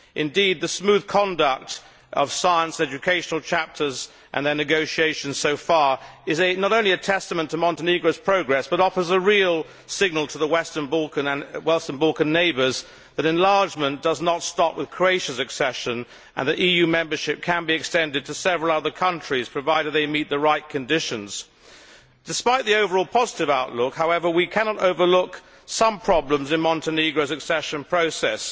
Indeed, the smooth conduct of the science and educational chapters in the negotiations so far is not only a testament to Montenegro's progress, it also offers a real signal to the Western Balkan neighbours that enlargement does not stop with Croatia's accession and that EU membership can be extended to several other countries, provided they meet the right conditions. Despite the overall positive outlook, however, we cannot overlook some problems in Montenegro's accession process.